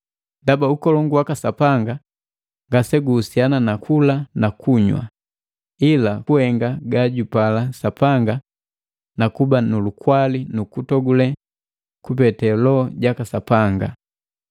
Ndaba Ukolongu waka Sapanga ngase guhusiana na kula na kunywa, ila kuhenga gajupala Sapanga na kuba nu lukwali nu kutogule kupete Loho jaka Sapanga.